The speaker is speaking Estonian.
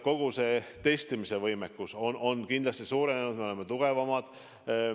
Kogu testimise võimekus on kindlasti suurenenud, me oleme tugevamad.